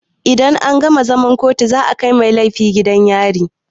Idan an gama zaman kotu za a kai mai laifi gidan yari.